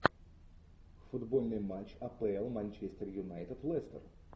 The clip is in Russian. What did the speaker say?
футбольный матч апл манчестер юнайтед лестер